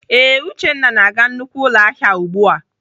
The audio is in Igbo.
Ee, Uchenna na-aga nnukwu ụlọahịa ahụ ugbu a.